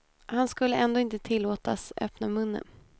Han skulle ändå inte tillåtas öppna munnen.